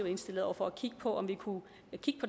indstillet over for at kigge på den